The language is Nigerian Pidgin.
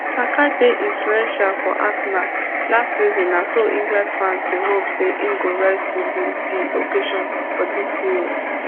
saka dey influential for arsenal last season na so england fans dey hope say im go rise to di di occasion for dis euros